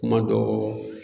Kuma dɔ